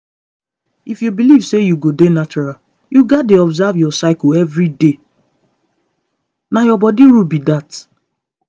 if you believe sey you go dey natural you gats dey observe your cycle every day na your body rule be that